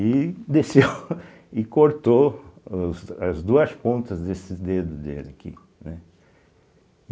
E desceu e cortou os as duas pontas desses dedos dele aqui, né.